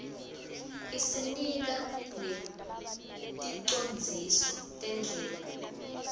isinika neticondziso tendlela